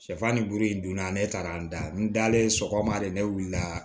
Sɛfan ni buru in donna ne taara an da n dalen sɔgɔma de ne wuli la